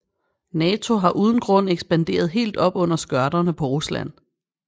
Nato har uden grund ekspanderet helt op under skørterne på Rusland